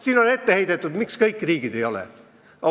Siin on ette heidetud, miks kõik riigid ei tule kõne alla.